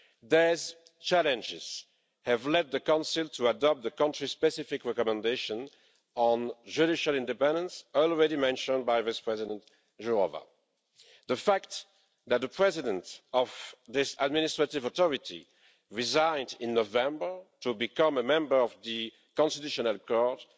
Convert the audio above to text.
These challenges have led the Council to adopt the country-specific recommendations on judicial independence already mentioned by Vice-President Jourová. The fact that the President of this administrative authority resigned in November to become a member of the Constitutional Court